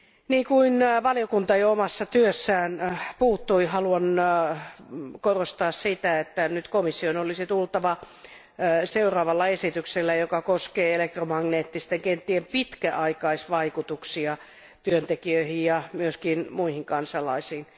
Niin kuin valiokunta jo omassa työssään totesi, haluan korostaa sitä, että nyt komission olisi tehtävä seuraava esitys, joka koskee elektromagneettisten kenttien pitkäaikaisvaikutuksia työntekijöihin ja myös muihin kansalaisiin.